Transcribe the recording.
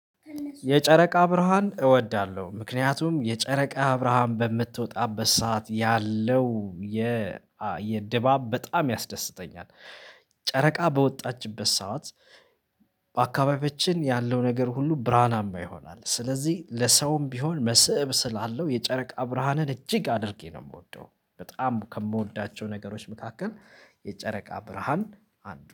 የጨረቃ ብርሃን እወዳለሁ ምክንያቱም የጨረቃ ብርሃን በምትወጣበት ሰዓት ያለው የ የድባብ በጣም ያስደስተኛል ጨረቃ በወጣችበት ሰዓት። በአካባቢዎችን ያለው ነገር ሁሉ ብርሃን አማ ይሆናል ስለዚህ ለሰውም ቢሆን መስእብ ስላለው የጨረቃ ብርሃንን እጅግ አድርጌ ነው የምወደው። በጣም ከምወዳቸው ነገሮች መካከል የጨረቃ ብርሃን አንዱ